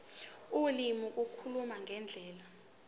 ulimi ukukhuluma ngendlela